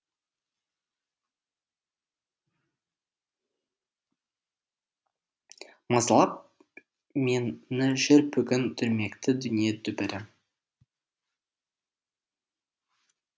мазалап мені жүр бүгін дүрмекті дүние дүбірі